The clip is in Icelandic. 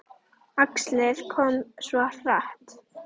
Æxlið kom svo hratt.